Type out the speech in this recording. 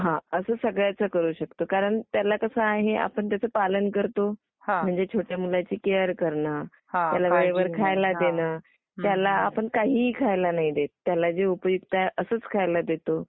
हां हां , असं सगळ्याच करू शकतो कारण त्याला कसं आहे आपण त्याचं पालन करतो म्हणजे छोट्या मुलांची केअर करणे, त्याला वेळेवर खायला देणं. त्याला आपण काहीही खायला नाही देत. काय जे उपयुक्त आहे असंच खायला देतो.